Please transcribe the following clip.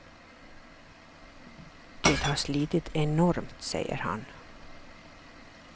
Det har slitit enormt, säger han.